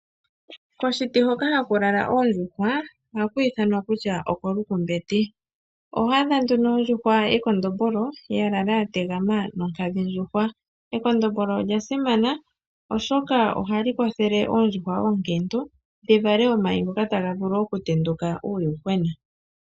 Koshiti hoka ha ku lala oondjuhwa, oha ku ithanwa kutya okolukumbeti. Oho adha nduno ondjuhwa yekondombolo ya lala ya tegama nonkadhindjuhwa. Ekondombolo olya simana oshoka oha li kwathele oondjuhwa oonkiintu dhi vale omayi ngoka ta ga vulu okutenduka uuyuhwena.